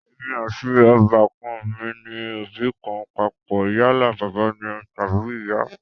Èmi àti ọbà kan mi ní òbí kan papọ̀ yálà bàbá ni tàbí ìyá